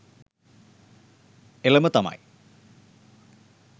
එලම තමයි